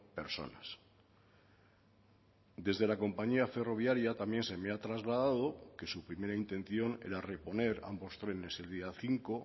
personas desde la compañía ferroviaria también se me ha trasladado que su primera intención era reponer ambos trenes el día cinco